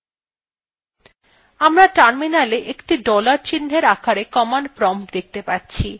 আমরা terminal একটি dollar চিন্হের আকারে command prompt দেখতে পাচ্ছি